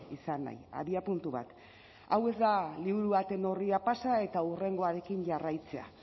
izan nahi abiapuntu bat hau ez da liburu baten orria pasa eta hurrengoarekin jarraitzea